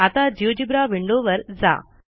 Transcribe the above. आता जिओजेब्रा विंडोवर जा